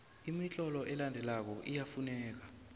imitlolo elandelako iyafuneka